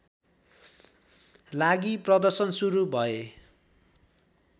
लागि प्रदर्शन सुरु भए